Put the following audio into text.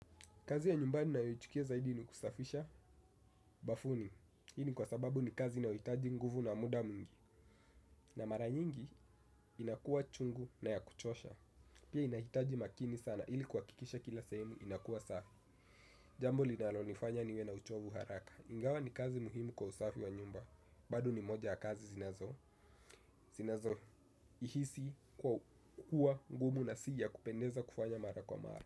Kazi ya nyumbani ninayo ichukia zaidi ni kusafisha bafuni. Hini kwa sababu ni kazi inyohitaji nguvu na muda mwingi. Na mara nyingi inakua chungu na ya kuchosha. Pia inahitaji makini sana ili kuhakikisha kila sehemu inakua safi. Jambo linalo nifanya niwe na uchovu haraka. Ingawa ni kazi muhimu kwa usafi wa nyumba bado ni moja ya kazi zinazo zinazo ihisi kwa kukuwa ngumu na si ya kupendeza kufanya mara kwa mara.